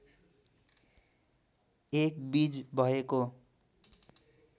एक बीज भएको